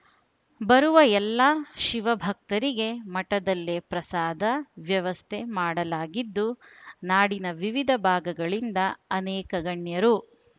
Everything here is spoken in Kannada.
ಬರುವ ಎಲ್ಲಾ ಶಿವ ಭಕ್ತರಿಗೆ ಮಠದಲ್ಲೇ ಪ್ರಸಾದ ವ್ಯವಸ್ಥೆ ಮಾಡಲಾಗಿದ್ದು ನಾಡಿನ ವಿವಿಧ ಭಾಗಗಳಿಂದ ಅನೇಕ ಗಣ್ಯರು